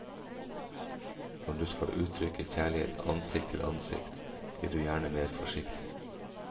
Når du skal uttrykke kjærlighet ansikt til ansikt, blir du gjerne mer forsiktig.